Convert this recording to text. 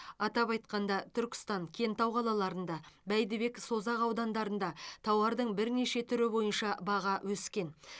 атап айтқанда түркістан кентау қалаларында бәйдібек созақ аудандарында тауардың бірнеше түрі бойынша баға өскен